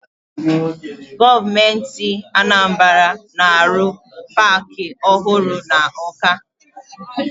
Gọọmenti Anambara na-arụ paakị ọhụrụ na Ọka.